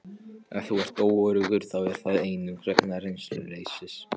Ef þú ert óöruggur þá er það einungis vegna reynsluleysis.